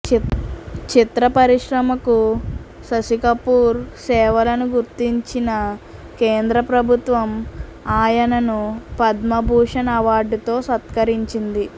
చిత్ర పరిశ్రమకు శశికపూర్ సేవలను గుర్తించిన కేంద్ర ప్రభుత్వం ఆయనను పద్మ భూషణ్ అవార్డుతో సత్కరించింది